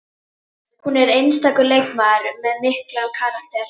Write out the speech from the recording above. Hún er einstakur leikmaður með mikinn karakter